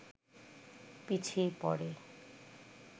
পিছিয়ে পড়ে